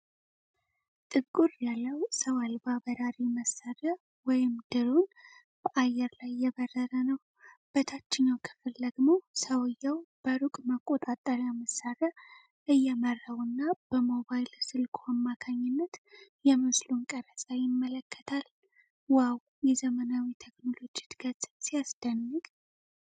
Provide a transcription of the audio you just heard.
ጥቁር ያለው ሰው አልባ በራሪ መሳሪያ (ድሮን) በአየር ላይ እየበረረ ነው። በታችኛው ክፍል ደግሞ ሰውየው በሩቅ መቆጣጠሪያ መሳሪያ እየመራውና በሞባይል ስልኩ አማካይነት የምስሉን ቀረጻ ይመለከታል። "ዋው! የዘመናዊ ቴክኖሎጂ እድገት ሲያስደንቅ!"